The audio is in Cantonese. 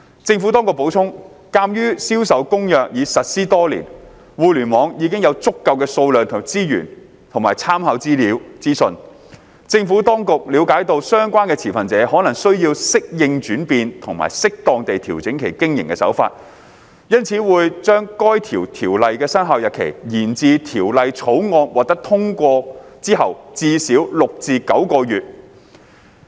政府當局補充，鑒於《銷售公約》已實施多年，互聯網已有足夠數量的資源和參考資訊，政府當局了解到相關持份者可能需時適應轉變及適當地調整其經營手法，因此會將該條例的生效日期，延至《條例草案》獲通過之後至少6至9個月。